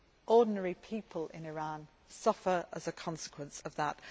ordinary people in Iran suffer as a consequence of that.